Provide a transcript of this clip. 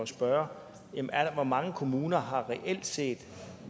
spørge hvor mange kommuner har reelt set